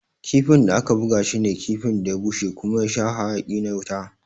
Kifin da aka buga shi ne kifin da ya bushe kuma ya sha hayaki na wuta.